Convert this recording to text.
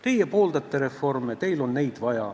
Teie pooldate reforme, teil on neid vaja.